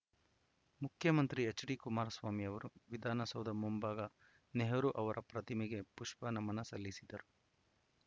ಮುಖ್ಯಮಂತ್ರಿ ಎಚ್‌ಡಿಕುಮಾರಸ್ವಾಮಿ ಅವರು ವಿಧಾನಸೌಧ ಮುಂಭಾಗ ನೆಹರು ಅವರ ಪ್ರತಿಮೆಗೆ ಪುಷ್ಪ ನಮನ ಸಲ್ಲಿಸಿದರು